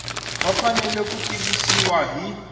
va fanele ku tivisiwa hi